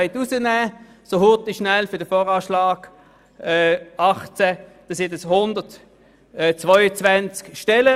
Wenn Sie auf die Schnelle 1 Prozent aus dem VA 2018 herausbrechen wollen, dann sind dies 122 Stellen.